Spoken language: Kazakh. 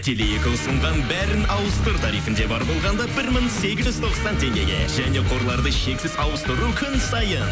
теле екі ұсынған бәрін ауыстыр тарифінде бар болғанда бір мың сегіз жүз тоқсан теңгеге және қорларды шексіз ауыстыру күн сайын